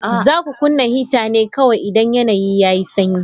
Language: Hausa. Za ku kunna hita ne kawai idan yanayi yayi sanyi.